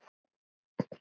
Það bara gerist.